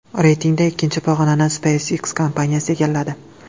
Reytingda ikkinchi pog‘onani SpaceX kompaniyasi egalladi.